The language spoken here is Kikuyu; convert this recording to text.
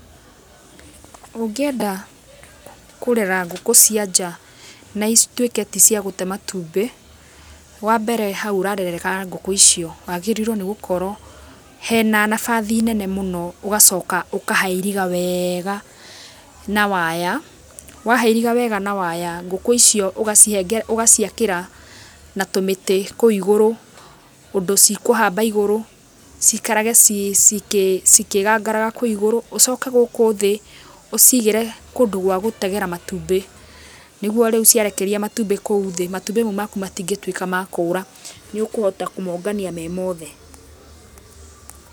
Ũngĩenda kũrera ngũkũ cia nja, na ituĩke ti cia gũte matumbĩ, wa mbere hau ũrarerera ngũku icio hagĩrĩiro nĩ gũkorwo he na nabathi nene mũno ũgacoka ũkahairiga wega na waya, wa hairiga wega na waya ngũkũ icio ũgaciakĩra na tũmĩtĩ kũu igũrũ ũndũ cikũhamba igũrũ ciikarage cikĩgangaraga kũu igũrũ, ũcoke gũkũ thĩ ũciigĩre kũndũ gwa gũtegera matumbĩ nĩguo rĩu ciarekeria matumbĩ kũu thĩ, matumbĩ mau maku matingĩtuĩka ma kũra nĩ ũkũhota kũmongania me mothe.